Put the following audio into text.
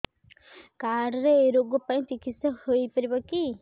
card ରେ ଏଇ ରୋଗ ପାଇଁ ଚିକିତ୍ସା ହେଇପାରିବ କି